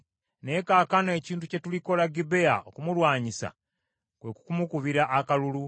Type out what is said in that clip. Naye kaakano ekintu kye tulikola Gibea okumulwanyisa, kwe kumukubira akalulu.